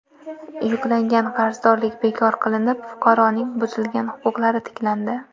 Yuklangan qarzdorlik bekor qilinib, fuqaroning buzilgan huquqlari tiklandi.